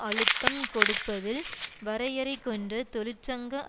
அழுத்தம் கொடுப்பதில் வரையறை கொண்ட தொழிற்சங்க